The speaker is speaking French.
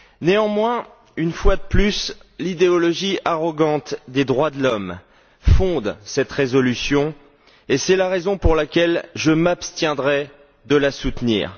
Néanmoins, une fois de plus, l'idéologie arrogante des droits de l'homme fonde cette résolution, et c'est la raison pour laquelle je m'abstiendrai de la soutenir.